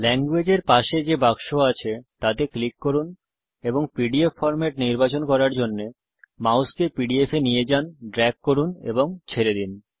Language এর পাশে যে বাক্স আছে তাতে ক্লিক করুন এবং পিডিএফ ফরম্যাট নির্বাচন করার জন্যে মাউসকে পিডিএফ এ নিয়ে যান ড্রেগ করুন এবং ছেড়ে দিন